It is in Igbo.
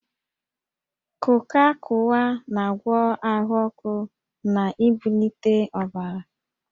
Kuka/Kuwa na-agwọ ahụ ọkụ na ibulite ọbara